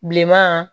Bilenman